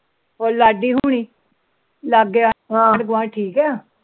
ਉਹ ਲਾਡੀ ਹੁਣੀ ਹੋਰ ਆਂਢ ਗਵਾਂਡ ਠੀਕ ਐ